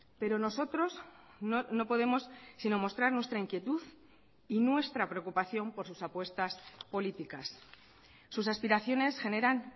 pero nosotros no podemos sino mostrar nuestra inquietud y nuestra preocupación por sus apuestas políticas sus aspiraciones generan